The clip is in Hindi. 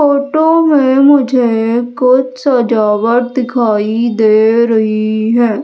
फोटो में मुझे कुछ सजावट दिखाई दे रही हैं।